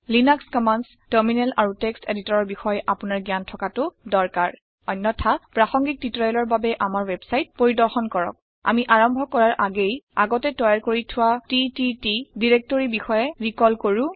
Linux commands terminal আৰু text editor ৰ বিষয় আপুনাৰ জ্ঞান থকাতু দৰকাৰ । অন্যথা প্ৰাসংগিক টিউটৰিয়েলৰ বাবে আমাৰ ৱেবছাইট পৰিদৰ্শন কৰক । আমি আৰম্ভ কৰা আগেয়ে আগতে তৈয়াৰ কৰি থোৱা টিটিটি নিৰ্দেশিকা বিষয়ে ৰিকল কৰো